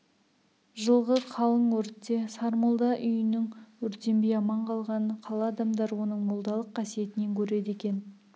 жылғы қалың өртте сармолда үйінің өртенбей аман қалғанын қала адамдары оның молдалық қасиетінен көреді екен